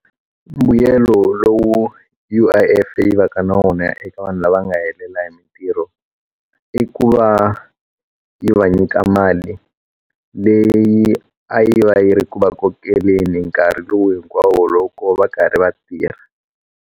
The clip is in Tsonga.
Mbuyelo lowu U_I_F yi va ka na wona ya eka vanhu lava nga helela hi mintirho i ku va yi va nyika mali leyi a yi va yi ri ku kokeleni hi nkarhi lowu hinkwawo loko va karhi vatirhi.